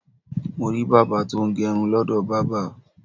Mo rí bàbá tó ń gẹrun lọ́dọ̀ bábà.